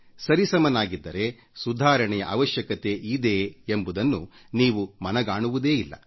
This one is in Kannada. ಸರಿಸಮನಾಗಿದ್ದರೆ ಸುಧಾರಣೆಯ ಅವಶ್ಯಕತೆ ಇದೆ ಎಂಬುದನ್ನು ನೀವು ಮನಗಾಣುವುದೇ ಇಲ್ಲ